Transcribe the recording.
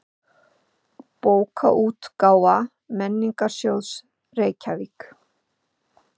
Bókaútgáfa Menningarsjóðs, Reykjavík.